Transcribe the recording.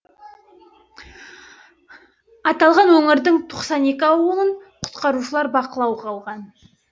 аталған өңірдің тоқсан екі ауылын құтқарушылар бақылауға алған